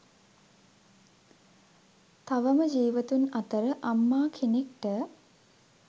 තවම ජීවතුන් අතර අම්මා කෙනෙක්ට